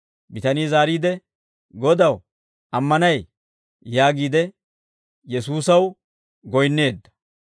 Bitanii zaariide, «Godaw, ammanay» yaagiide Yesuusaw goyinneedda.